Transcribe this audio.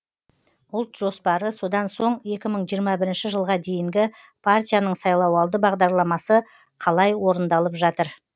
ұлт жоспары содан соң екі мың жиырма бірінші жылға дейінгі партияның сайлауалды бағдарламасы қалай орындалып жатыр